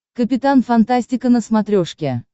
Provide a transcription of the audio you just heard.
капитан фантастика на смотрешке